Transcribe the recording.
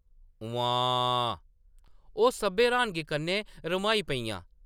“उम्म्मांऽऽ! ” ओह्‌‌ सब्भै र्‌हानगी कन्नै रम्हाई पेइयां ।